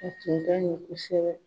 A tun ka ɲi kosɛbɛ